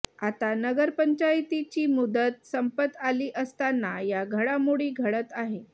आता नगर पंचायतीची मुदत संपत आली असताना या घडामोडी घडत आहे